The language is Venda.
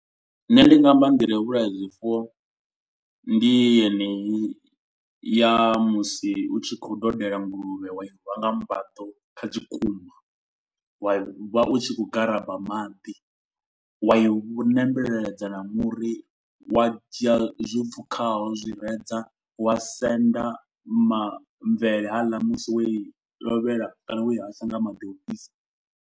Nṋe ndi nga amba nḓila yo vhulaya zwifuwo. Ndi yeneyi ya musi u tshi khou dodela nguluvhe wa i rwa nga mbaḓo kha tshikuma. Wa vha u tshi khou garaba maḓi wa i vhu ṋembedza na muri. Wa dzhia zwo pfukaho zwireza wa senda mamvele haaḽa musi wo i lovhela kana wo i hasha nga maḓi ofhisa.